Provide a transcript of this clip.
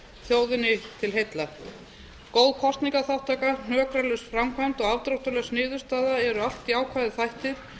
þjóðinni til heilla góð kosningaþátttaka hnökralaus framkvæmd og afdráttarlaus niðurstaða eru allt jákvæðir þættir